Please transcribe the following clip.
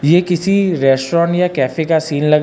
ये किसी रेस्टोरेंट या कैफे का सीन लग--